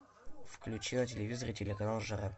включи на телевизоре телеканал жара